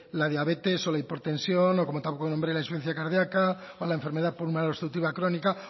al diabetes o la hipertensión o como tampoco nombré la insuficiencia cardiaca o la enfermedad pulmonar obstructiva crónica